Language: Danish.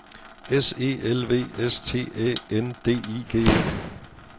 S E L V S T Æ N D I G E